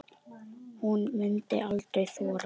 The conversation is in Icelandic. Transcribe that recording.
Hún mundi aldrei þora.